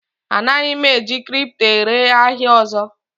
Anaghị m eji kripto ere ahịa ọzọ